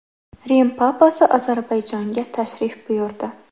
Rim papasi Ozarbayjonga tashrif buyurdi.